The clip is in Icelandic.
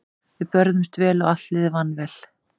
Við börðumst vel og allt liðið vann vel.